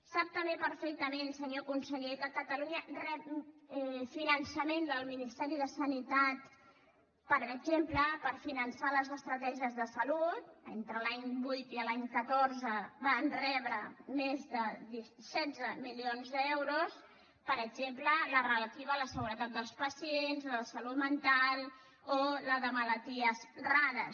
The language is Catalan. sap també perfectament senyor conseller que catalunya rep finançament del ministeri de sanitat per exemple per finançar les estratègies de salut entre l’any vuit i l’any catorze van rebre més de setze milions d’euros per exemple la relativa a la seguretat dels pacients la de salut mental o la de malalties rares